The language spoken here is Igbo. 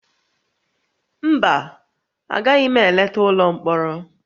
Mba, agaghị m eleta ụlọ mkpọrọ